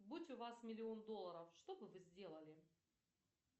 будь у вас миллион долларов чтобы вы сделали